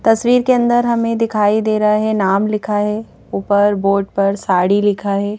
तस्वीर के अंदर हमें दिखाई दे रहा है नाम लिखा है ऊपर बोर्ड पर साड़ी लिखा है।